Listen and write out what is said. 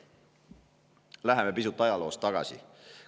Läheme pisut ajaloos tagasi.